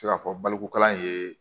Se ka fɔ balikukalan ye